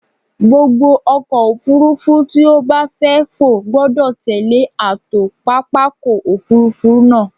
Gbogbo ọkọ̀-òfurufú tí ó bá fẹ́ fò gbọdọ̀ tẹllé ààtò pápákọ̀-òfurufú náà.